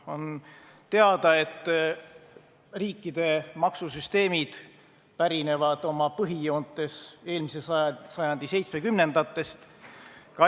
On teada, et riikide maksusüsteemid pärinevad oma põhijoontes eelmise sajandi 70-ndatest.